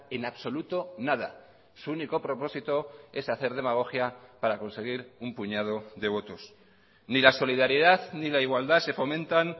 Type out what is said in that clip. en absoluto nada su único propósito es hacer demagogia para conseguir un puñado de votos ni la solidaridad ni la igualdad se fomentan